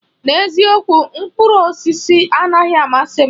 N'eziokwu, mkpụrụ osisi anaghị amasị m.